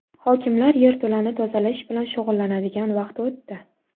Hokimlar yerto‘lani tozalash bilan shug‘ullanadigan vaqt o‘tdi.